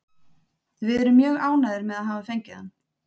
Við erum mjög ánægðir með að hafa fengið hann.